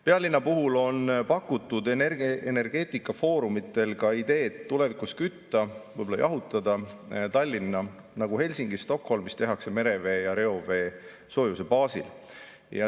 Pealinna puhul on pakutud energeetikafoorumitel ideed tulevikus kütta, võib-olla ka jahutada Tallinna, nagu seda Helsingis ja Stockholmis tehakse, merevee ja reovee soojuse baasil.